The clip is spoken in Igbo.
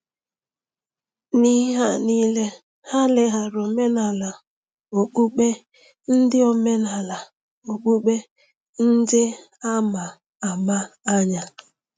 N’ihe a nile, ha leghaara omenala okpukpe ndị omenala okpukpe ndị a ma ama anya.